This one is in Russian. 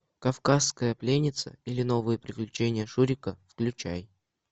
кавказская пленница или новые приключения шурика включай